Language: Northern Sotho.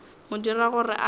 mo dira gore a se